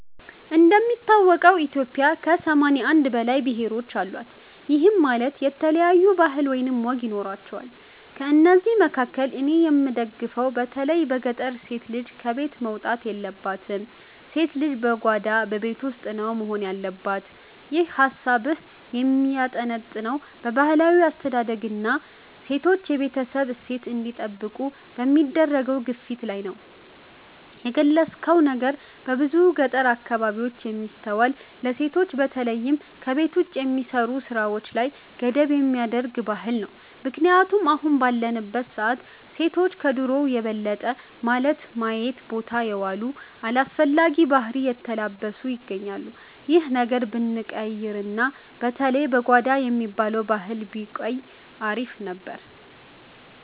እንደሚታወቀው ኢትዮጵያ ከ81 በላይ ብሔሮች አሏት፤ ይህም ማለት የተለያዩ ባህል ወይም ወግ ይኖራቸዋል። ከእነዚህ መካከል እኔ የምደግፈው በተለይ በገጠር ሴት ልጅ ከቤት መውጣት የለባትም፣ ሴት ልጅ በጓዳ (በቤት ውስጥ) ነው መሆን ያለባት። ይህ ሃሳብህ የሚያጠነጥነው በባህላዊ አስተዳደግና ሴቶች የቤተሰብን እሴት እንዲጠብቁ በሚደረገው ግፊት ላይ ነው። የገለጽከው ነገር በብዙ የገጠር አካባቢዎች የሚስተዋል፣ ለሴቶች በተለይም ከቤት ውጭ በሚሰሩ ስራዎች ላይ ገደብ የሚያደርግ ባህል ነው። ምክንያቱም አሁን ባለንበት ሰዓት ሴቶች ከድሮው የበለጠ ማለት ማዮን ቦታ የዋሉ፣ አላስፈላጊ ባህሪን የተላበሱ ይገኛሉ። ይህ ነገር ብንቀይርና በተለይ "በጓዳ" የሚባለው ባህል ቢቆይ አሪፍ ነበር።